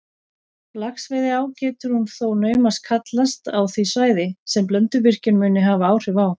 Laxveiðiá getur hún þó naumast kallast á því svæði, sem Blönduvirkjun mundi hafa áhrif á.